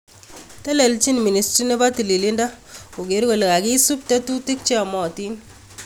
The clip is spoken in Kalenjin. Telelchin ministry nepo tililindo kogeer kole kagisup tetutik cheyomotin